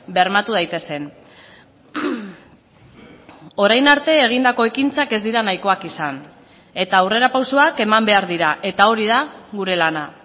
bermatu daitezen orain arte egindako ekintzak ez dira nahikoak izan eta aurrerapausoak eman behar dira eta hori da gure lana